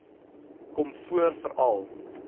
kom voor veral